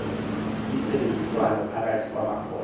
intsebenziswano phakathi kwamakholwa